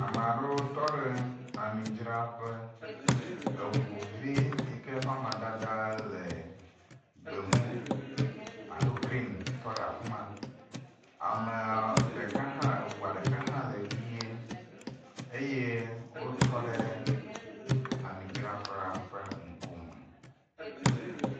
Ame aɖewo tɔ ɖe ami dzraƒe. eŋuvi yi ke ƒe amadada le gbemu alo green tɔ ɖe afi ma, eŋua ɖeka hã le ʋi eye wotɔ ɖe ami dzraƒea ƒe ŋku me.